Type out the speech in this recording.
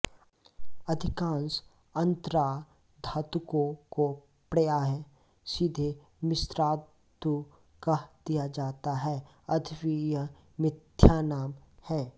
अधिकांश अन्तराधातुकों को प्रायः सीधे मिश्रातु कह दिया जाता है यद्यपि यह मिथ्यानाम है